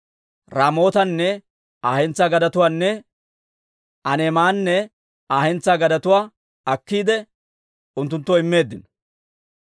Raamootanne Aa hentsaa gadetuwaanne Aaneemanne Aa hentsaa gadetuwaa akkiide, unttunttoo immeeddino.